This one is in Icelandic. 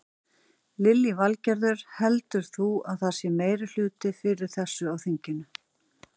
Lillý Valgerður: Heldur þú að það sé meirihluti fyrir þessu á þinginu?